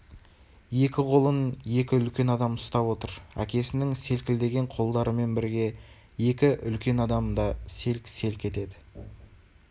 екі қолын екі үлкен адам ұстап отыр әкесінің селкілдеген қолдарымен бірге екі үлкен адам да селк-селк етеді